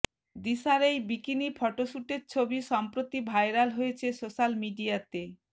দিশার এই বিকিনি ফটোশ্যুটের ছবি সম্প্রতি ভাইরাল হয়েছে সোশ্যাল মিডিয়াতে